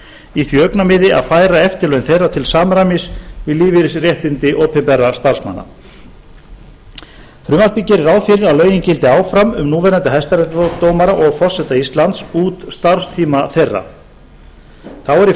í því augnamiði að færa eftirlaun þeirra til samræmis við lífeyrisréttindi opinberra starfsmanna frumvarpið gerir ráð fyrir að lögin gildi áfram um núverandi hæstaréttardómara og forseta íslands út starfstíma þeirra þá er í